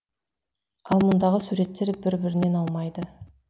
ал мұндағы суреттер бір бірінен аумайды